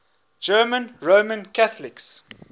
german roman catholics